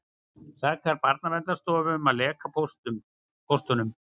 Sakar Barnaverndarstofu um að leka póstunum